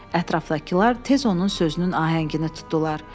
Ətrafdakılar tez onun sözünün ahəngini tutdular.